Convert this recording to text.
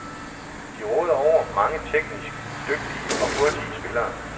De råder over mange teknisk dygtige og hurtige spillere.